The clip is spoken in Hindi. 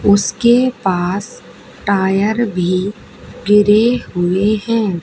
उसके पास टायर भी गिरे हुए हैं।